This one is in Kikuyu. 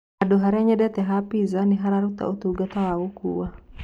Handũ harĩa nyendete ha piza nĩharũtaga ũtũngata wa gũkũwa